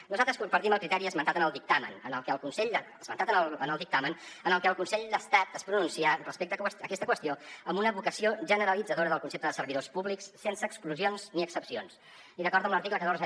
nosaltres compartim el criteri esmentat en el dictamen en el que el consell d’estat es pronuncià respecte a aquesta qüestió amb una vocació generalitzadora del concepte de servidors públics sense exclusions ni excepcions i d’acord amb l’article catorze